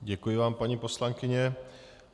Děkuji vám, paní poslankyně.